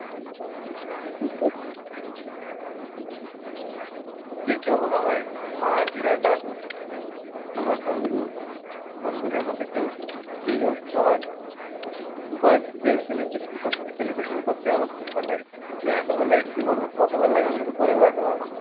যে কেউ হোক আমার মা, দিদা, দাদু, আমার বন্ধু, বন্ধুদের মধ্যে কেউ যেই হোক সবার birth day celebration করতে celebration করতে আমার খুব ভাল্লাগে। হ্যাঁ এত ভাল্লাগে কি বলব। কত ভাল্লাগে আমি তোকে বুঝাতে পারবো না।